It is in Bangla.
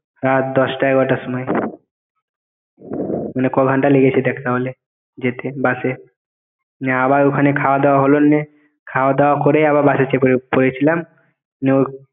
রাত দশটা এগারোটার সময় মানে ক ঘন্টা লেগেছে দেখ তাহলে যেতে বাসে না আবার ওখানে খাওয়া দাওয়া হলো খাওয়া দাওয়া করে আবার বাসে চেপে পড়েছিলাম নেওক